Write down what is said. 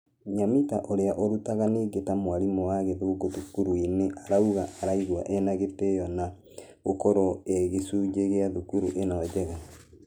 Nyamita ũrĩa ũrutaga nĩngĩ ta mwarimũ wa gĩthũngũ thukuru-inĩ araugire araigua ĩna gĩtĩo na ......gũkorwo ĩĩ gĩcunjĩ gĩa thukuru ĩno njega .